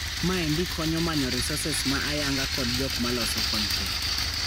Maendi konyo manyo resources ma ayanga kod jok ma loso kontent.